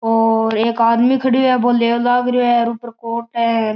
और एक आदमी खड़यो है बो लेवण लाग रहियो है ऊपर कोट है।